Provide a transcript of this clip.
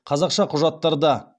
қазақша құжаттарда